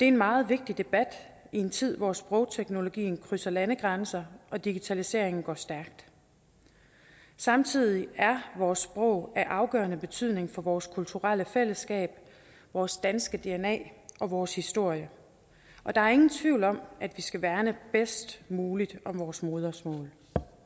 en meget vigtig debat i en tid hvor sprogteknologien krydser landegrænser og digitaliseringen går stærkt samtidig er vores sprog af afgørende betydning for vores kulturelle fællesskab vores danske dna og vores historie og der er ingen tvivl om at vi skal værne bedst muligt om vores modersmål